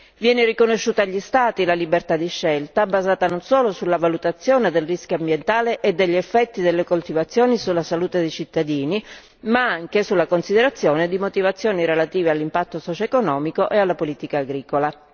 Viene riconosciuta agli Stati la libertà di scelta, basata non solo sulla valutazione del rischio ambientale e degli effetti delle coltivazioni sulla salute dei cittadini, ma anche sulla considerazione di motivazioni relative all'impatto socioeconomico e alla politica agricola.